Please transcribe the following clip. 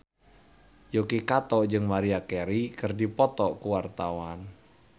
Yuki Kato jeung Maria Carey keur dipoto ku wartawan